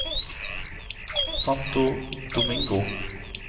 Santo Domingo